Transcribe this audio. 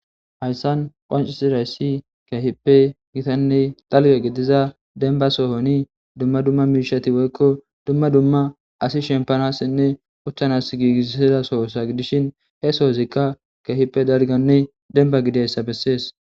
Hayssan beettizayssi gitanne dalga gidiza demba sohon dumma dumma miishshati woykko dumma dumma asi shempanassinne uttanas giigissiza soho gidishi he sooyikka dalganne demba gidizaysa bessees.